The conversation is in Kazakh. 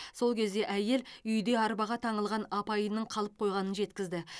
сол кезде әйел үйде арбаға таңылған апайының қалып қойғанын жеткізді